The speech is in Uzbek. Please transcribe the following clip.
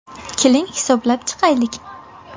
Keling hisoblab chiqaylik!